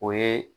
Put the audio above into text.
O ye